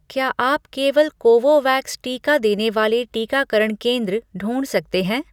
क्या आप केवल कोवोवैक्स टीका देने वाले टीकाकरण केंद्र ढूँढ सकते हैं?